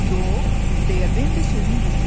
Yox, deyə Bembi sözün düzünü dedi.